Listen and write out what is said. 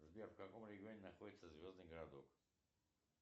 сбер в каком регионе находится звездный городок